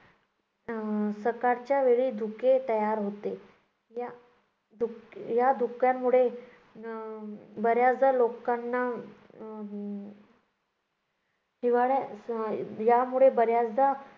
अं सकाळच्या वेळी धुके तयार होते, या धुक्य~ धुक्यामुळं अं बऱ्याचदा लोकांना हिवाळा अं यामुळे बऱ्याचदा